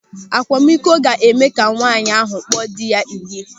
Akwamiko ga-eme ka nwaanyị ahụ kpọọ dị ya ịyị.